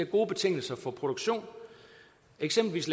gode betingelser for produktion eksempelvis